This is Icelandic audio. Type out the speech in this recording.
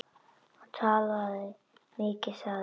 Hann talaði mikið sagði hann.